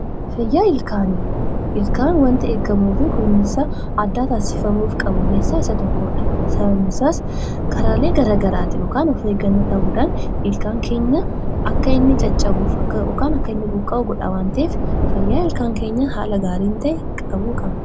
Ilkaan wanta eegamuu fi kunuunsa addaa taasifamuu qabu keessaa Isa tokkodha. Sababiin isaas karaalee garaagaraatiin yookiin of eeggannoo dhabuun ilkaan keenya akka inni caccabu yookaan buqqa'u godha waan ta'eef fayyaa ilkaan keenyaa haala gaariin qabuun barbaachisaadha.